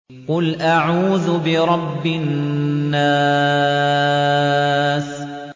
قُلْ أَعُوذُ بِرَبِّ النَّاسِ